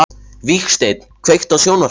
Vígsteinn, kveiktu á sjónvarpinu.